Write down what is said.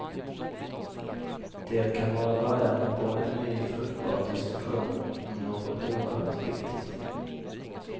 Det kan vara början på en ny fruktbar diskussion om något oerhört viktigt.